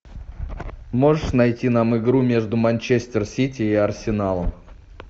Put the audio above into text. можешь найти нам игру между манчестер сити и арсеналом